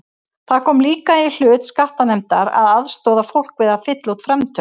Það kom líka í hlut skattanefndar að aðstoða fólk við að fylla út framtöl.